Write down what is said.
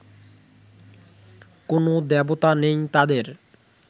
কোনো দেবতা নেই তাঁদের